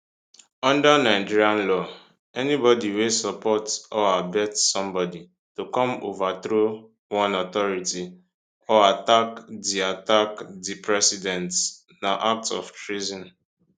under nigerian law anybody wey support or abet somebody to come overthrow one authority or attack di attack di president na act of treason